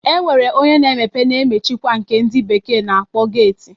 E nwere onye na-emepe na-emchikwa nke ndị bekee na-akpọ geeti